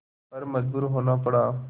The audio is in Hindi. पर मजबूर होना पड़ा